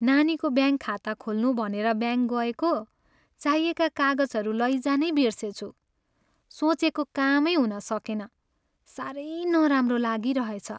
नानीको ब्याङ्क खाता खोल्नु भनेर ब्याङ्क गएको, चाहिएका कागजहरू लैजानै बिर्सेछु। सोचेको कामै हुन सकेन। साह्रै नराम्रो लागिरहेछ।